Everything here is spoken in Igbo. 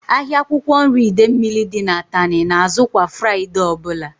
Ahịa akwụkwọ nri Idemili dị n'Atani na azụ kwa Fraịdee ọbụla